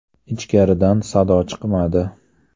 Ichkaridan sado chiqmadi.